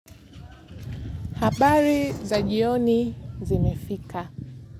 Habari za jioni zimefika.